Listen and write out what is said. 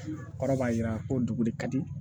Kɔrɔ b'a jira ko dugu de ka di